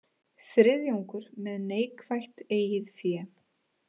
Þriðjungur með neikvætt eigið fé